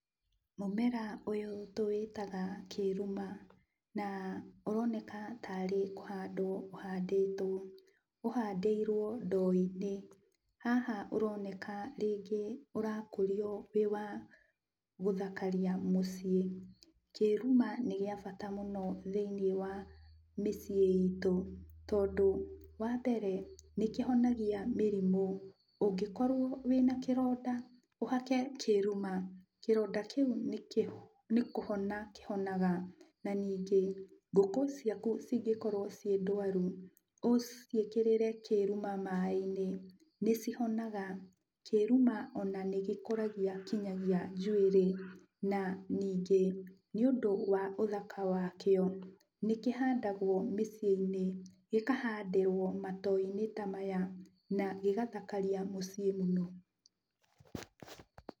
Mũmera ũyũ tũwĩtaga kĩruma, na ũroneka tarĩ kũhandwo ũhandĩtwo. Ũhandĩirwo ndoo-inĩ, haha ũroneka rĩngĩ ũrakũrio ũrĩ wa gũthakaria mũciĩ. Kĩruma nĩ gĩa bata mũno thĩiniĩ wa mĩciĩ itũ, tondũ wambere, nĩkĩhonagia mĩrimũ. Ũngĩkorwo wĩna kĩronda, ũhake kĩruma, kĩronda kĩu nĩ kũhona kĩhonaga. Na ningĩ, ngũkíĩ ciaku cingĩkorwo ciĩ ndwaru, ũciĩkĩrĩre kĩruma maĩ-inĩ nĩcihonaga. Kĩruma ona nĩgĩkũragia kinyagia njuĩrĩ, na ningĩ nĩũndũ wa ũthaka wakĩo nĩkĩhandagwo mĩciĩ-inĩ. Gĩkahandĩrwo matoo-inĩ ta maya, na gĩgathakaria mũciĩ mũno.